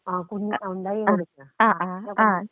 ആ കുഞ്ഞ് ആ ഒണ്ടാക്കി കൊടുക്ക് *നോട്ട്‌ ക്ലിയർ*.